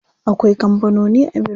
Akwai kampanoni a birni.